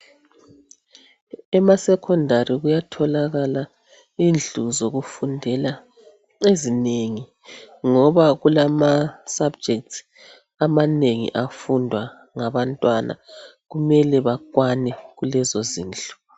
Emasecondary kuyatholakala indlu zokufundela ezinengi , ngoba kulamasubjects amanengi afundwa ngabantwana. Kumele bakwane kulezozindlu.